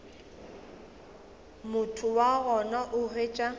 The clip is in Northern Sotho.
motho wa gona o hwetša